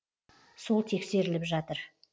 сол тексеріліп жатыр